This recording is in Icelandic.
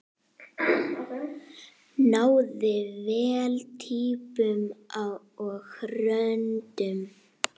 Náði vel týpum og röddum.